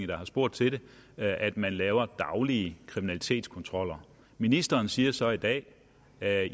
der har spurgt til det at man laver daglige kriminalitetskontroller ministeren siger så i dag at